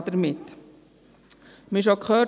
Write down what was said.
Wir haben es schon gehört: